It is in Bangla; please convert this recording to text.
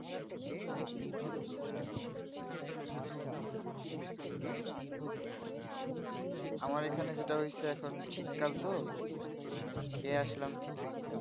আমার এখানে যেটা হয়ছে এখন শীত কাল তোখেয়ে আসলাম চিতই